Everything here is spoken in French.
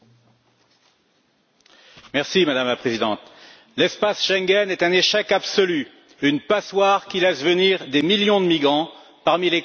Madame la Présidente, l'espace Schengen est un échec absolu, une passoire qui laisse venir des millions de migrants, parmi lesquels se cachent des centaines de terroristes.